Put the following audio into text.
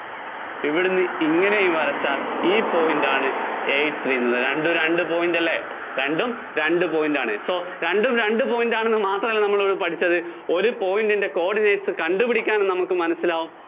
ഇവിടുന്ന് ഇങ്ങനെ വരച്ചാല്‍ ഈ point ആണ് eight three എന്നുള്ളത്. രണ്ടും രണ്ട് point അല്ലേ? രണ്ടും രണ്ട് point ആണെന്ന് മാത്രമല്ല നമ്മള്‍ ഇവിടെ പഠിച്ചത്